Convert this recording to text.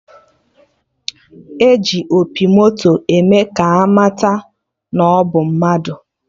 E ji opi moto eme ka amata nnọdụ mmadụ